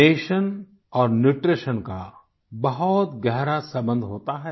nation और nutrition का बहुत गहरा सम्बन्ध होता है